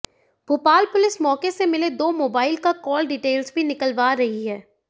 Bhopal police मौके से मिले दो मोाबाइल का काल डिटेल्स भी निकलवा रही है